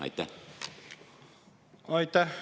Aitäh!